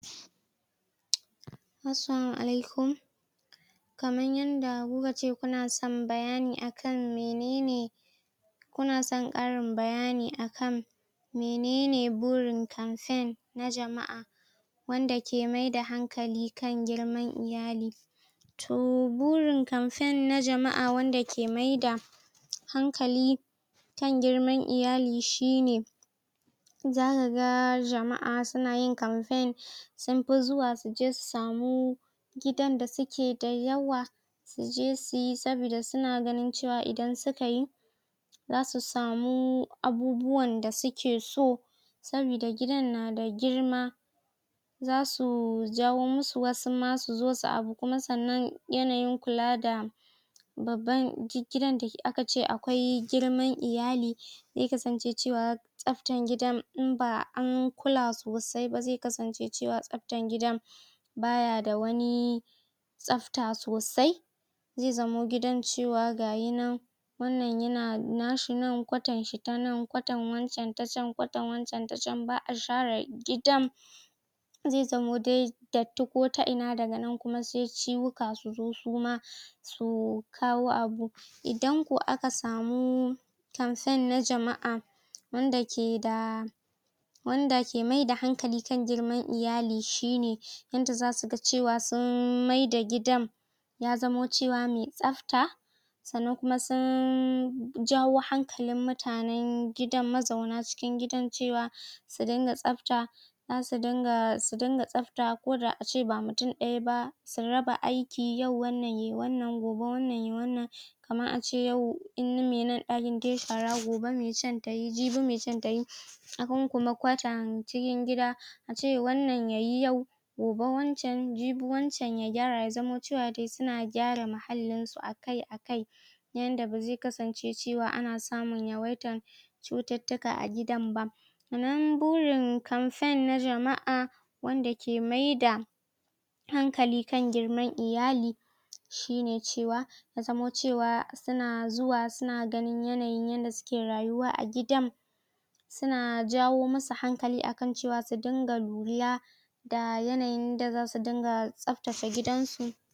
Assalamu alaikum Kaman yanda ku ka ce kuna son bayani akan menene kuna son ƙarin bayani akan minene burin campaign na jama'a wanda ke maida hankali kan girma iyali. To burin campaign na jama'a wanda ke maida hankali kan girman iyali shi ne za ka ga jama'a su na yin campaign sun fi zuwa su je su samu gidan da su ke da yawa suje su yi sabida su na ganin cewa idan suka yi za su samu abubuwan da suke so, sabida gidan na da girma. Za su jawo musu wasu ma su zo abu kuma saboda yanayin kula da babban gi gidan da aka ce akwai girma iyali, zai kasanace cewa tsaftan gidan in ba an kula sosai ba zai kasance tsaftana gidan ba ya da wani tsafta sosai. Zai zamo gidan cewa gaya nan wannan yana na nashi nan, kwatan shi ta nan, kwatan wancan ta can, kwatan wancan ta can, ba'a share gidan. Zai zamo dai datti ko ta ina nan kuma sai ciwuka su zo su ma, su kawo abu. Idan ko aka samu campaign na jama'a wanda ke da wanda ke maida hankali kan girman iyali shi ne yanda za su ga cewa sun maida gidan ya zamo cewa mai tsafta, sannan kuma sun jawo hankalin mutanen gidan mazauna cikin gidan cewa su dinga tsafta. Za su dinga, su dinga tsaf ta koda a ce ba mutum ɗaya ba, su raba aiki yau wannan yayi wannan gobe wannan yayi wannan. Kaman ace yau in na me nan yayi dai shara gobe can tayi jibi mai can tayi. Ehen kuma kwantan cikin gida ace wannan yayi yau, gobe wancan, jibi wancan ya gyara ya zamo cewa dai su na gyara muhallin su akai-akai. Na yanda ba zai kasance cewa ana samun yawaitan cututtuka a gidan ba. Sannan burin campaign na jama'a wanda ke maida hankali kan girman iyali shi ne cewa ya zamo cewa su na zuwa su na ganin yanayin yanda suke rayuwa a gidan. Su na jawo musu hankali akan cewa su dinga lura da yanayin da za su dinga tsaftace gudan su.